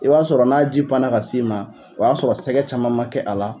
I b'a sɔrɔ n'a ji panna ka s'i ma o b'a sɔrɔ sɛgɛ caman ma kɛ a la